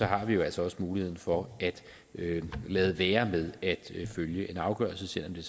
har vi jo altså også muligheden for at lade være med at følge en afgørelse selv om det